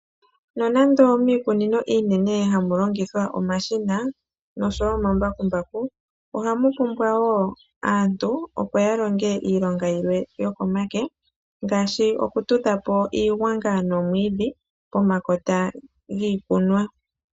Nonande miikunino iinene oha mu longithwa omashina nosho woo omambakumbaku. Oha mu pumbwa woo aantu opo ya longe iilonga yilwe yoko make, ngaashi okutudha po iigwanga noomwiidhi pomakota giikunwa.